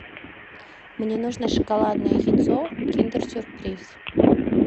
мне нужно шоколадное яйцо киндер сюрприз